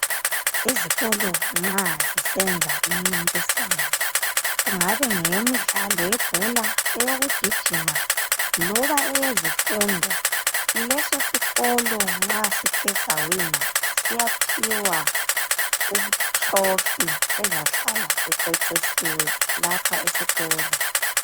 Izikolo nxa zisenza imincintiswano kungabe yimidlalo yebhola, eyokugijima loba eyezifundo. Leso sikolo nxa sithe sawina siyaphiwa itrofi ezahlala icecisiwe lapha esikolo.